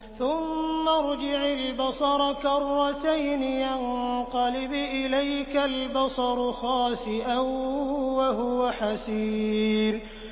ثُمَّ ارْجِعِ الْبَصَرَ كَرَّتَيْنِ يَنقَلِبْ إِلَيْكَ الْبَصَرُ خَاسِئًا وَهُوَ حَسِيرٌ